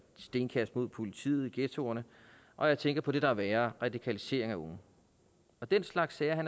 stenkast mod politiet i ghettoerne og jeg tænker på det der er værre radikalisering af unge den slags sager